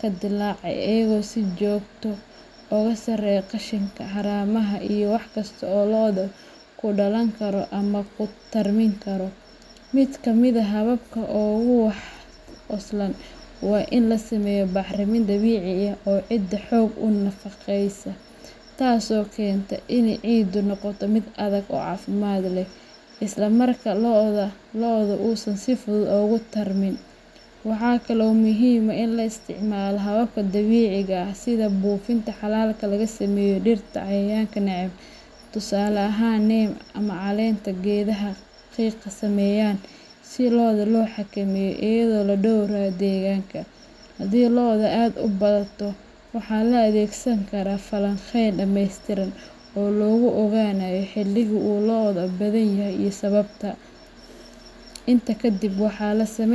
ka dillaacay, iyaga oo si joogto ah uga saaraya qashinka, haramaha, iyo wax kasta oo loddu ku dhalan karo ama ku tarmin karo. Mid ka mid ah hababka ugu wax ku oolsan waa in la sameeyo bacrimin dabiici ah oo ciidda xoog u nafaqeysa, taasoo keenta in ciiddu noqoto mid adag oo caafimaad leh, isla markaana loddu uusan si fudud ugu tarmin. Waxa kale oo muhiim ah in la isticmaalo hababka dabiiciga ah sida buufinta xalalka laga sameeyo dhirta cayayaanka neceb, tusaale ahaan, neem ama caleenta geedaha qiiqa sameeya, si lodda loo xakameeyo iyadoo la dhowrayo deegaanka. Haddii loddu uu aad u bato, waxaa la adeegsan karaa falanqeyn dhammaystiran oo lagu ogaanayo xilliga uu loddu badanyahay iyo sababta. Intaa kadib, waxaa la samayn.